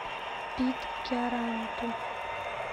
питкяранту